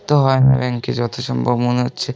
Bank -এ যত সম্ভব মনে হচ্ছে।